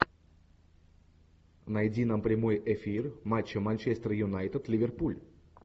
найди нам прямой эфир матча манчестер юнайтед ливерпуль